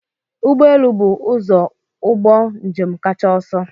Ụgbọ elu bụ ụzọ ụgbọ njem kacha ọsọ.